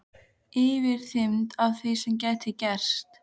Yfirþyrmd af því sem gæti gerst.